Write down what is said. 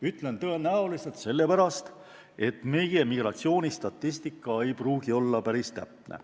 Ütlen "tõenäoliselt" sellepärast, et meie migratsioonistatistika ei pruugi olla päris täpne.